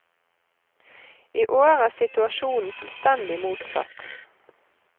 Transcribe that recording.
I år er situasjonen fullstendig motsatt.